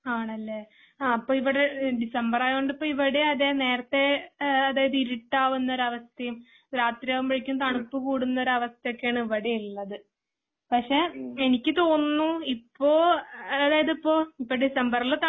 ആണല്ലേ? അപ്പോ ഇവിടെ ഡിസംബർ ആയതുകൊണ്ട് ഇവിടെ അതേ നേരത്തെ അതായത് ഇരുട്ടാവുന്ന ഒരു അവസ്ഥയും രാത്രി ആകുമ്പോഴേക്കും തണുപ്പ് കൂടുന്ന ഒരു അവസ്ഥയാണ് ഇവിടെ ഉള്ളത്. പക്ഷേ എനിക്ക് തോന്നുന്നു ഇപ്പോ അതായത് ഇപ്പോ ഡിസംബറില് തണുപ്പ്